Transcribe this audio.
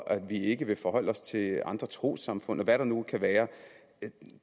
vi ikke vil forholde os til andre trossamfund og hvad der nu kan være